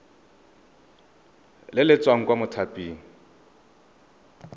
le le tswang kwa mothaping